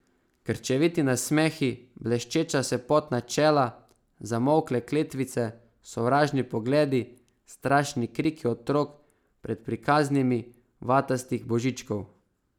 Krčeviti nasmehi, bleščeča se potna čela, zamolkle kletvice, sovražni pogledi, strašni kriki otrok pred prikaznimi vatastih Božičkov.